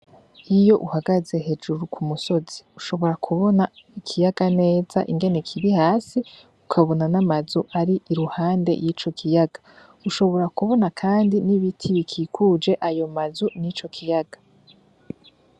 Iyo uhagaze hejuru ku musozi ushobora kubona ikiyaga neza ingene kibi hasi ukabona n'amazu ari iruhande y'ico kiyaga, ushobora kubona kandi n'ibiti bikikuje ayo mazu ni co kiyaga.